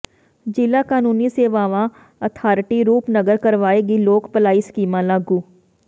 ਜ਼ਿਲ੍ਹਾ ਕਾਨੂੰਨੀ ਸੇਵਾਵਾਂ ਅਥਾਰਟੀ ਰੂਪਨਗਰ ਕਰਵਾਏਗੀ ਲੋਕ ਭਲਾਈ ਸਕੀਮਾਂ ਲਾਗੂ